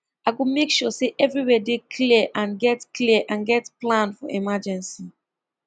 i go make sure say everywhere dey clear and get clear and get plan for emergency